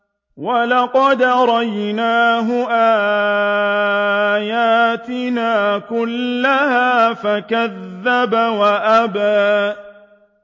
وَلَقَدْ أَرَيْنَاهُ آيَاتِنَا كُلَّهَا فَكَذَّبَ وَأَبَىٰ